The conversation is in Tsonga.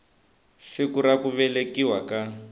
siku ra ku velekiwa ka